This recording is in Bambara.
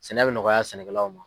Sɛnɛ bɛ nɔgɔya sɛnɛkɛlaw ma.